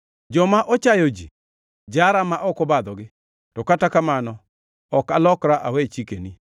Joma ochayo ji jara ma ok obadhogi to kata kamano ok alokra awe chikeni.